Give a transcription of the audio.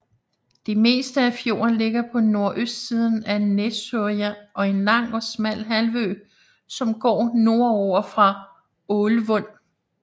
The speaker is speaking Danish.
Det meste af fjorden ligger på nordøstsiden af Nesøya og en lang og smal halvø som går nordover fra Ålvund